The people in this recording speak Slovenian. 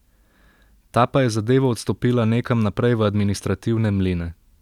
Ta pa je zadevo odstopila nekam naprej v administrativne mline.